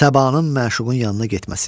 Səbanın məşuqun yanına getməsi.